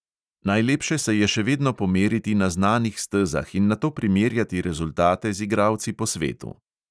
Najlepše se je še vedno pomeriti na znanih stezah in nato primerjati rezultate z igralci po svetu.